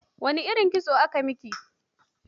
Wane irin kitos aka yi miki?